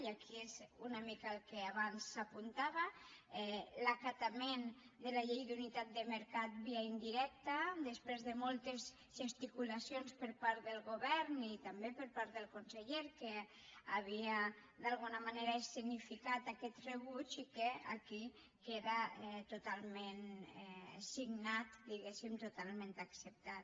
i aquí és una mica el que abans s’apuntava l’acatament de la llei d’unitat de mercat via indirecta després de moltes gesticulacions per part del govern i també per part del conseller que hi havia d’alguna manera escenificat aquest rebuig i que aquí queda totalment signat diguéssim totalment acceptat